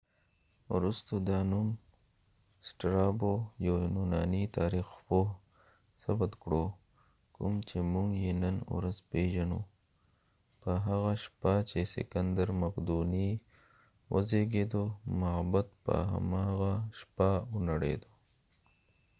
یوناني تاریخپوه strabo وروسته دا نوم ثبت کړو کوم چې موږ یې نن ورځ پیژنو په هاغه شپه چې سکندر مقدوني وزیږید معبد په هماغه شپه ونړید